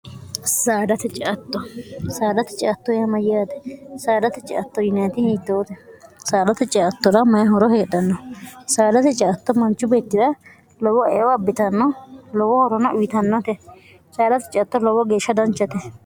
dtctosaadate citto yamayyaate saadat ctto yinhote saadate ceattora mayi horo heedhanno saadate ciatto manchu beettira lowo ewo abbitanno lowo horona uyitannote saalate ciatto lowo geeshsha danchate